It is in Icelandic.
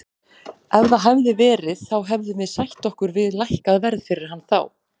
Ef það hefði verið þá hefðum við sætt okkur við lækkað verð fyrir hann þá.